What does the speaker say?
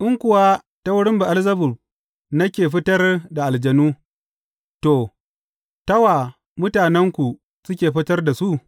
In kuwa ta wurin Be’elzebub nake fitar da aljanu, to, ta wa mutanenku suke fitar da su?